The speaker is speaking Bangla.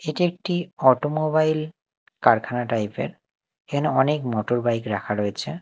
এটি একটি অটোমোবাইল কারখানা টাইপ -এর এখানে অনেক মোটরবাইক রাখা রয়েছে।